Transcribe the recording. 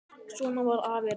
Svona var afi Reynir.